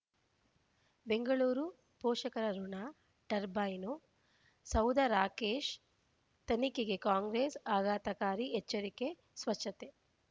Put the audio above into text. ಬೆಂಗಳೂರು ಪೋಷಕರಋಣ ಟರ್ಬೈನು ಸೌಧ ರಾಕೇಶ್ ತನಿಖೆಗೆ ಕಾಂಗ್ರೆಸ್ ಆಘಾತಕಾರಿ ಎಚ್ಚರಿಕೆ ಸ್ವಚ್ಛತೆ